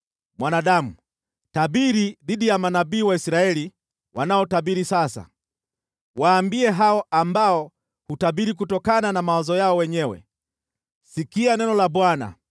“Mwanadamu, tabiri dhidi ya manabii wa Israeli wanaotabiri sasa. Waambie hao ambao hutabiri kutokana na mawazo yao wenyewe: ‘Sikia neno la Bwana !